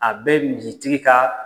A bɛ misitigi ka